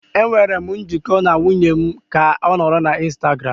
Enwere m njikọ na nwunye m ka ọ nọrọ na Instagram.